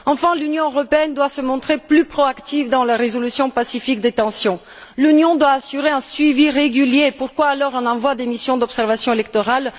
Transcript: Enfin, l'Union européenne doit se montrer plus proactive dans la résolution pacifique des tensions. L'Union doit assurer un suivi régulier sinon, pourquoi envoyer des missions d'observation électorale?